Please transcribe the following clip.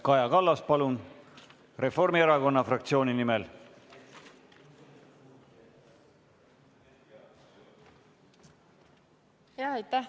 Kaja Kallas, palun, Reformierakonna fraktsiooni nimel!